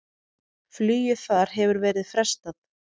Flugi þar hefur verið frestað.